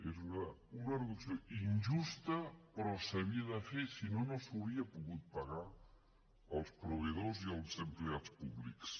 era una reducció injusta però s’havia de fer si no no s’hauria pogut pagar els proveïdors i els empleats públics